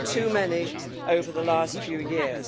We have had too many over the last few years.